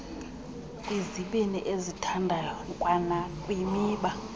kwizibini ezithandayo kwanakwimiba